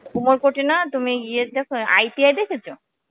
উমরকট এ না তুমি ইয়ে দেখো ITI দেখেছো?